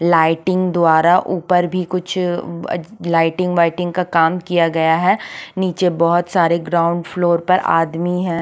Lighting द्वारा ऊपर भी कुछ अ लाइटिंग वाईटिंग का काम किया गया हैं नीचे बहुत सारे ग्राउंड फ्लोर पर आदमी हैं।